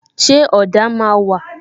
Ṣé ọ̀dà máa wà?